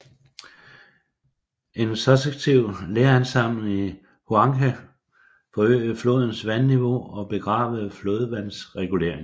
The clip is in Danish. En successiv leransamling i Huanghe forøgede flodens vandniveau og begravede flodvandsreguleringen